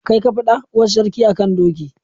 Kai ka faɗa? Uwar sarki a kan doki.